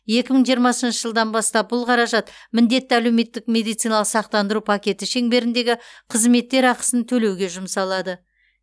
екі мың жиырмасыншы жылдан бастап бұл қаражат міндетті әлеуметтік медициналық сақтандыру пакеті шеңберіндегі қызметтер ақысын төлеуге жұмсалады